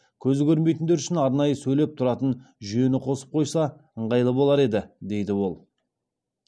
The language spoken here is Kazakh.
көзі көрмейтіндер үшін арнайы сөйлеп тұратын жүйені қосып қойса ыңғайлы болар еді дейді ол